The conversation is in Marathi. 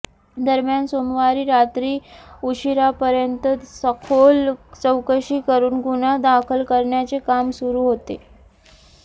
दरम्यान सोमवारी रात्री उशिरापर्यंत सखोल चौकशी करून गुन्हा दाखल करण्याचे काम सुरू होते